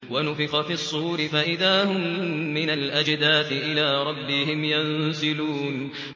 وَنُفِخَ فِي الصُّورِ فَإِذَا هُم مِّنَ الْأَجْدَاثِ إِلَىٰ رَبِّهِمْ يَنسِلُونَ